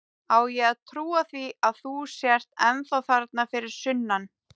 Á ég að trúa því að þú sért ennþá þarna fyrir sunnan?